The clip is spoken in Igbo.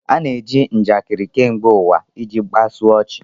A na-eji njakịrị kemgbe ụwa iji kpasu ọchị